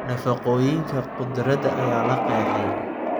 Nafaqooyinka khudradda ayaa la qeexay.